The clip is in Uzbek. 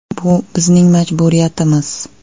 Bu bizning majburiyatimiz.